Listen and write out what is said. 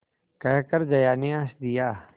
कहकर जया ने हँस दिया